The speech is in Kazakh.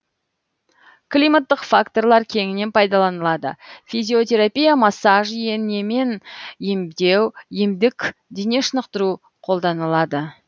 климаттық факторлар кеңінен пайдаланылады физиотерапия массаж инемен емдеу емдік дене шынықтыру қолданылады